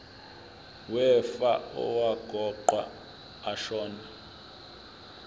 wefa owaqokwa ashona